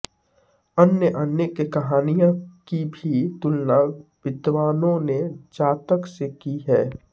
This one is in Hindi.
अन्य अनेक कहानियों की भी तुलना विद्वानों ने जातक से की हैं